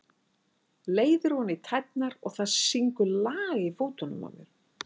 Leiðir ofan í tærnar og það syngur lag í fótunum á mér.